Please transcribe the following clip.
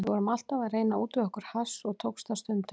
Við vorum alltaf að reyna að útvega okkur hass og tókst það stundum.